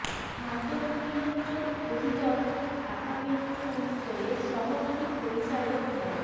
মাদক নিয়ন্ত্রণ অধিদফতর ঢাকা মেট্রো উত্তরের সহকারী পরিচালক মো